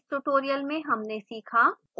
इस tutorial में हमने सीखा: